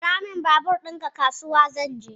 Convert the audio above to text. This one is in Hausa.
Ara min babur ɗinka, kasuwa zan je